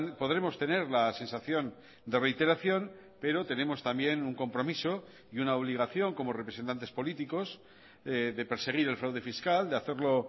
podremos tener la sensación de reiteración pero tenemos también un compromiso y una obligación como representantes políticos de perseguir el fraude fiscal de hacerlo